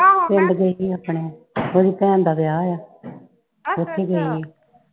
ਆਹੋ। ਪਿੰਡ ਗਈ ਵੀ ਹਥਨ। ਉਹਦੀ ਭੈਣ ਦਾ ਵਿਆਹ ਵਾ ਉੱਥੇ ਗਈ ਹੋਈ ਆ।